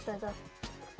þetta